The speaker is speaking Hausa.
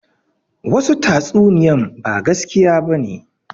Wasu tatsuniyan ba gaskiya bane